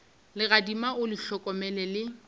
legadima o le hlokomele le